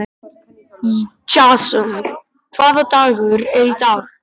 Jason, hvaða dagur er í dag?